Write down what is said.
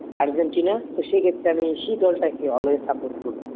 Argentina সেই ক্ষেত্রে আমি সে দলটাকে always support করি